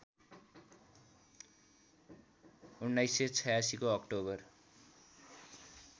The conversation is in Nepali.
१९८६ को अक्टोबर